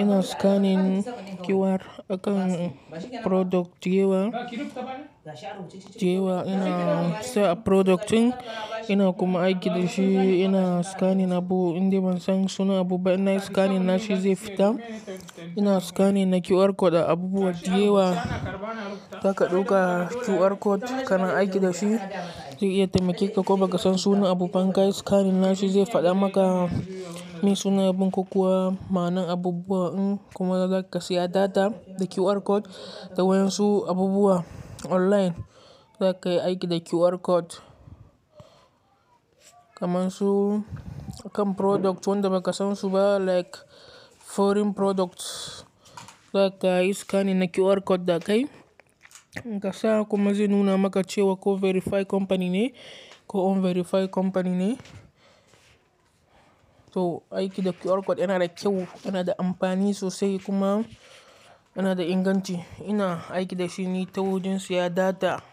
ina scanning QR akan product da yewa, da yewa ina siya product ɗin ina kuma aiki da shi ina scanning abu inda ban san sunan abu ba ina scanning nashi zai fita. Ina scanning na QR code a abubuwa da yewa, zaka ɗauka QR code kana aiki da shi, zai iya taimake ka ko ba ka san sunan abu ban kai scanning nashi zai faɗa maka mai suna abin kokawa, ma'ana abubuwa in kuma zaka siya data da QR code da wayan su abubuwa online, zaka yi aiki da QR code. Kaman su akan product wanda ba ka san su ba like foreign products, zaka iya scanning na QR code dakai, kasa kuma zai nuna maka cewa ko verified company ne ko unverified company ne. To aiki da QR code yana da kyau, yana da amfani sosai kuma yana da inganci. Ina aiki da shi ne ta wajen siya data.